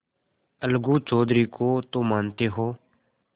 अलगू चौधरी को तो मानते हो